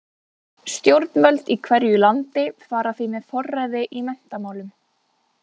Stjórnvöld í hverju landi fara því með forræði í menntamálum.